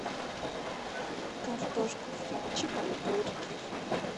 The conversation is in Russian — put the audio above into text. картошку фри чикен бургер